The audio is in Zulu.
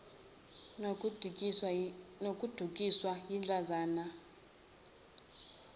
nokudukiswa yidlanzana labenza